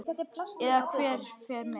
Eða hver fer með.